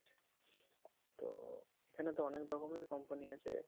তো~ এখানে তো অনেক রকমের company আছে